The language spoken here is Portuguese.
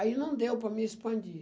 Aí não deu para mim expandir.